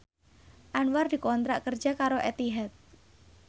Anwar dikontrak kerja karo Etihad